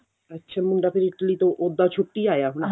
ਅੱਛਾ ਮੁੰਡਾ ਫਿਰ Italy ਤੋਂ ਉੱਦਾਂ ਛੁੱਟੀ ਆਇਆ ਹੋਣਾ